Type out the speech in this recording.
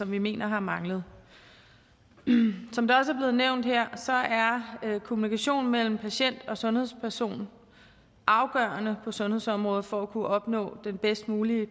vi mener har manglet som det også er blevet nævnt her er kommunikationen mellem patient og sundhedsperson afgørende på sundhedsområdet for at kunne opnå den bedst mulige